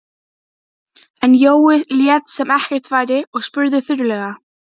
En Jói lét sem ekkert væri og spurði þurrlega